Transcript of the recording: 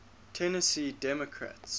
tennessee democrats